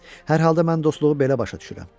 Hər halda mən dostluğu belə başa düşürəm.